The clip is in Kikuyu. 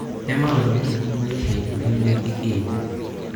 Nĩ maũndũ marĩkũ ma ica ikuvĩ mekĩkĩte?